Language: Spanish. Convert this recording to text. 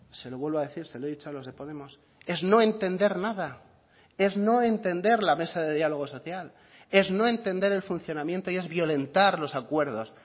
se lo vuelvo a decir se lo he dicho a los de podemos es no entender nada es no entender la mesa de diálogo social es no entender el funcionamiento y es violentar los acuerdos